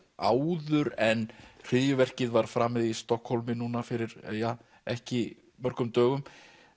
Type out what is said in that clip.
áður en hryðjuverkið var framið í Stokkhólmi núna fyrir ja ekki mörgum dögum